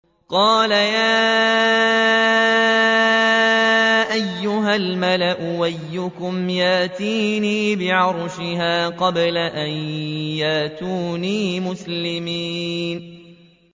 قَالَ يَا أَيُّهَا الْمَلَأُ أَيُّكُمْ يَأْتِينِي بِعَرْشِهَا قَبْلَ أَن يَأْتُونِي مُسْلِمِينَ